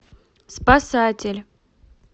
спасатель